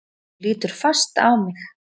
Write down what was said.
Hún lítur fast á mig.